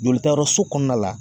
Jolitayɔrɔso kɔnɔna la